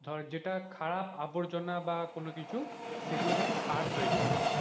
ধর যেটা খারাপ আবর্জনা বা কোনো কিছু সেগুলো থেকে সেগুলো থেকে সার তৈরি হবে,